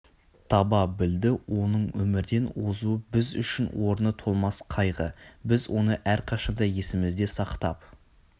таба білді оның өмірден озуы біз үшін орны толмас қайғы біз оны әрқашанда есімізде сақтап